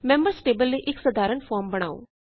members table ਲਈ ਇਕ ਸਾਧਾਰਣ ਫੋਰਮ ਬਣਾਓ